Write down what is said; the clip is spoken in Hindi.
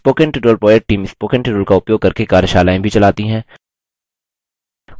spoken tutorial project team spoken tutorial का उपयोग करके कार्यशालाएँ भी चलाती है